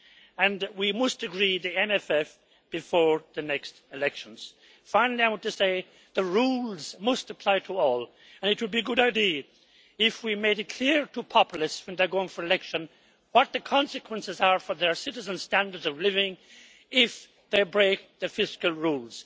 And we must agree the MFF before the next elections. Finally, I want to say that the rules must apply to all, and it would be a good idea if we made it clear to populists when they are going for election what the consequences are for their citizens' standards of living if they break the fiscal rules.